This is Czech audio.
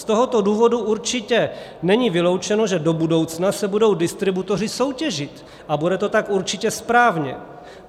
Z tohoto důvodu určitě není vyloučeno, že do budoucna se budou distributoři soutěžit, a bude to tak určitě správně.